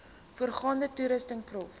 voorrade toerusting prof